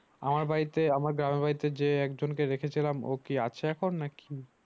আমার বাড়িতে আমার গ্রামের বাড়িতে যে এক জনকে রেখেছিলাম ও কি আছে এখন? না কি